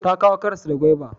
Ta kawo karas da gwaiba